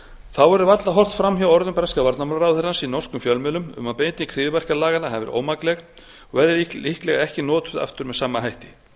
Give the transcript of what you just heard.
þá verður varla horft fram hjá orðum breska varnarmálaráðherrans í norskum fjölmiðlum um að beiting hryðjuverkalaganna hafi verið ómakleg og verði líklega ekki notuð aftur með sama hætti